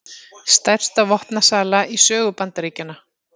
Stærsta vopnasala í sögu Bandaríkjanna